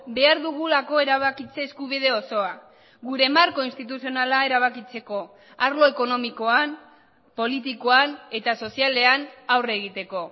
behar dugulako erabakitze eskubide osoa gure marko instituzionala erabakitzeko arlo ekonomikoan politikoan eta sozialean aurre egiteko